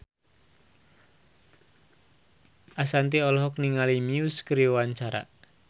Ashanti olohok ningali Muse keur diwawancara